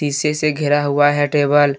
शीशे से घेरा हुआ है टेबल ।